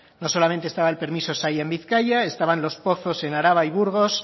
no solamente estaba el permiso saila en bizkaia estaban los pozos en araba y burgos